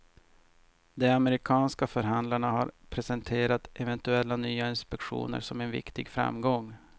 De amerikanska förhandlarna har presenterat eventuella nya inspektioner som en viktig framgång.